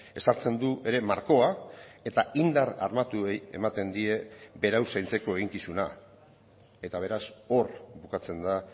ezartzen du ere markoa eta indar armatuei ematen die berau zaintzeko eginkizuna eta beraz hor bukatzen da